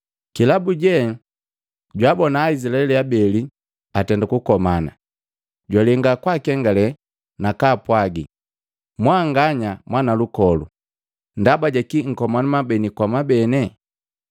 Kilabuje, jwaabona Aizilaeli abeli atenda kukomana, jwalenga kwaakengale nakaapwagi, ‘Mwanganya mwanalukolu, ndaba jakii nkomana mwabeni kwa mwabene?’